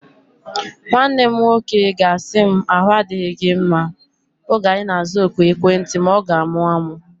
Nwanne m nwoke ga-asị m, ahu adịghị gị mma oge anyi na-aza oku ekwentị ma ọ ga-amụ amụ